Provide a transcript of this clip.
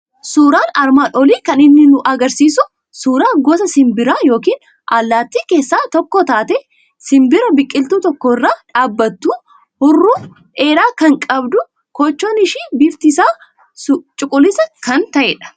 Suuraan armaan olii kan inni nu argisiisu suuuraa gosa simbiraa yookiin allaattii keessaa tokko taate, simbira biqiltuu tokko irra dhaabattu, huuruu dheeraa kan qabdu, koochoon ishii bifti isaa suquliisaa kan ta'edha.